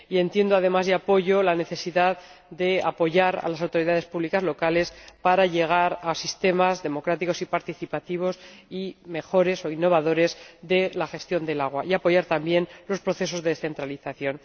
Y entiendo además, y apoyo, la necesidad de apoyar a las autoridades públicas locales para llegar a sistemas democráticos y participativos y mejores o innovadores de la gestión del agua, y de apoyar también los procesos de descentralización.